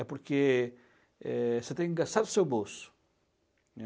É porque, eh, você tem que gastar do seu bolso, né?